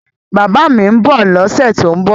Bàbá mi ń bọ̀ lọ́sẹ̀ tó ń bọ̀